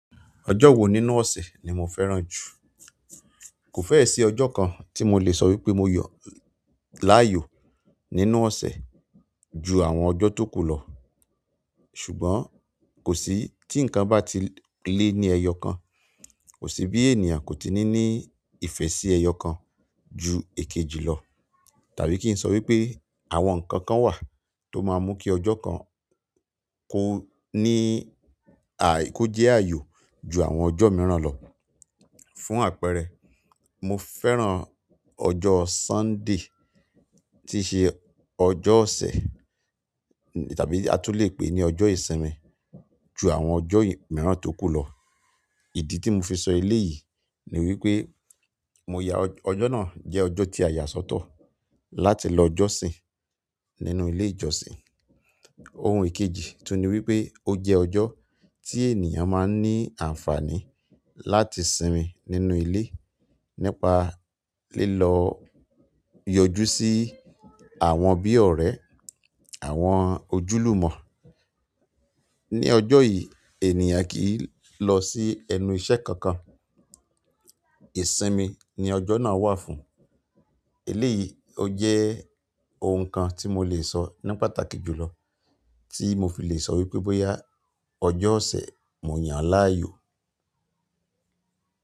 Ọjọ́ wo nínú ọ̀sẹ̀ ni mo fẹ́ràn jù? Kò fẹ́ẹ̀ sí ọjọ́ kan tí mo lè sọ wípé mo yọ láàyò nínú ọ̀sẹ̀ ju àwọn ọjọ́ tókù lọ. Ṣùgbọ́n kò sí tí ǹkan bá ti lé ní ẹyọ kan, kò sí bí ènìyàn kò ti ní ní ìfẹ́ sí ẹyọ kan ju èkejì lọ. Tàbí kí n sọ wípé àwọn ǹkan kan wà tó máa mú kí ọjọ́ kan kó ní à-- kó jẹ́ ààyò ju àwọn ọjọ́ mìíràn lọ. Fún àpẹẹrẹ, mo fẹ́ràn ọjọ́ Sunday tí ṣe ọjọ́ ọ̀sẹ̀ tàbí a tún lè pè ní ọjọ́ ìsinmi ju àwọn ọjọ́ mìíràn tókù lọ. Ìdí tí mo fi sọ eléyìí ni wípé mo yá ọjọ́ náà jẹ́ ọjọ́ tí a yà sọ́tọ̀ láti lọ jọ́sìn nínú ilé ìjọ́sìn. Ohun ìkejì tún ni wípé ó jẹ́ ọjọ́ tí ènìyàn máa ń ní àǹfààní láti sinmi nínú ilé nípa lílọ yọjú sí àwọn bí ọ̀rẹ́, àwọn ojúlùmọ̀. Ni ọjọ́ yìí ènìyàn kì í lọ sí ẹnu iṣẹ́ kankan. Ìsinmi ni ọjọ́ náà wà fún. Eléyìí ó jẹ́ ohun kan tí mo lè sọ ní pàtàkì jùlọ tí mo fi lè sọ wípé bóyá ọjọ́ ọ̀sẹ̀ mo yàn an láàyò.